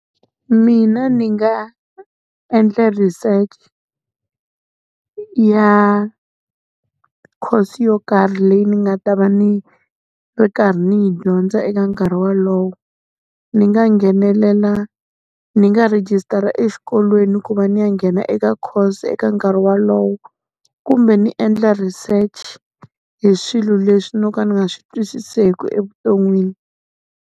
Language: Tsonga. Mina ni nga endla research ya course yo karhi leyi ni nga ta va ni ri karhi ni yi dyondza eka nkarhi wolowo. Ni nga nghenelela, ni nga rejistara exikolweni ku va ni ya nghena eka course eka nkarhi wolowo. Kumbe ni endla research hi swilo leswi no ka ni nga swi twisiseki evuton'wini.